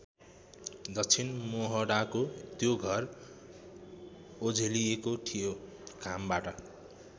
दक्षिण मोहडाको त्यो घर ओझेलिएको थियो घामबाट।